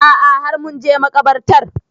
A'a har mun je makabartar